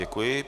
Děkuji.